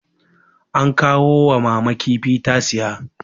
an kawo wa mama kifi ta siya